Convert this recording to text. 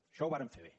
això ho varen fer bé